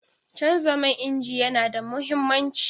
Canza man inji yana da mahimmanci.